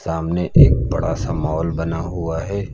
सामने एक बड़ा सा मॉल बना हुआ है।